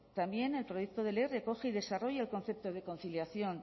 también el proyecto de ley recoge y desarrolla el concepto de conciliación